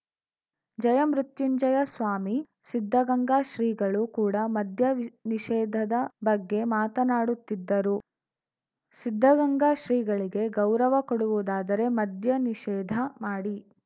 ಜಯಮೃತ್ಯುಂಜಯ ಸ್ವಾಮೀ ಸಿದ್ಧಗಂಗಾ ಶ್ರೀಗಳು ಕೂಡ ಮದ್ಯ ನಿಷೇಧದ ಬಗ್ಗೆ ಮಾತಾನಾಡುತ್ತಿದ್ದರು ಸಿದ್ಧಗಂಗಾ ಶ್ರೀಗಳಿಗೆ ಗೌರವ ಕೊಡುವುದಾದರೆ ಮದ್ಯ ನಿಷೇಧ ಮಾಡಿ